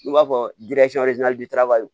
I b'a fɔ